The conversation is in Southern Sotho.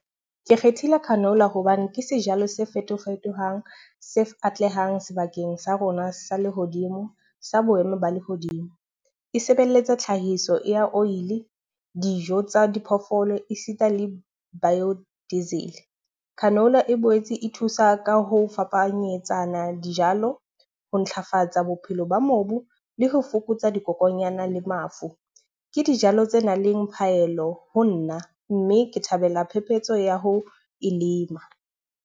Ke kgethile canola hobane ke sejalo se fetofetohang se atlehang sebakeng sa rona sa lehodimo sa boemo ba lehodimo. E sebeletsa tlhahiso ya oil, dijo tsa diphoofolo e sita le bio diesel. Canola e boetse e thusa ka ho fapanyetsana dijalo, ho ntlafatsa bophelo ba mobu, le ho fokotsa dikokonyana le mafu. Ke dijalo tse nang le phaello ho nna. Mme ke thabela phephetso ya ho e lema.